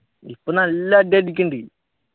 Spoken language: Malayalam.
ഇപ്പൊ നല്ല അടി അടിക്കുണ്ട്